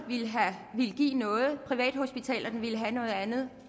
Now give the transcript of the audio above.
ville give noget privathospitalerne ville have noget andet